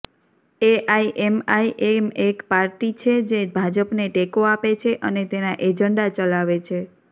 AIMIM એક party છે જે ભાજપને ટેકો આપે છે અને તેના એજન્ડા ચલાવે છે